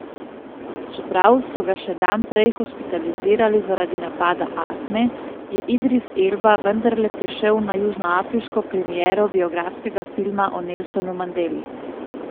Čeprav so ga še dan prej hospitalizirali zaradi napada astme, je Idris Elba vendarle prišel na južnoafriško premiero biografskega filma o Nelsonu Mandeli.